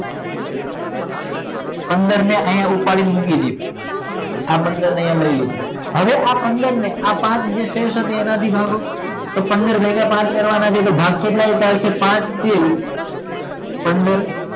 પંદર ને આય ઉપાડીને મૂકી દીઓ આ પંદર ને આય લઈ લીધા હવે આ પંદર ને પાંચ વડે ભાગો એટલે પંદર ભાગ્ય પાંચ કરો એટલે ભાગ કેટલો ચાલસે પાંચ થી પંદર